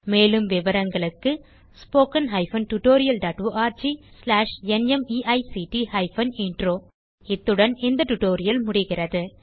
மேலும் விவரங்களுக்கு 1 இத்துடன் இந்த டியூட்டோரியல் முடிகிறது